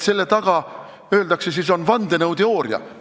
Selle taga, öeldakse, on vandenõuteooria.